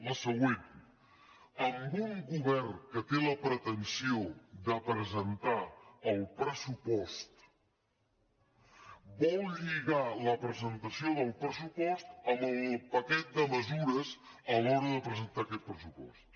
la següent amb un govern que té la pretensió de presentar el pressupost vol lligar la presentació del pressupost amb el paquet de mesures a l’hora de presentar aquest pressupost